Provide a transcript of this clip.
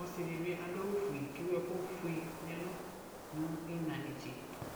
Ɔsidibi adʋ awʋ ƒue ke wu ɛkʋ fue nʋ iina netse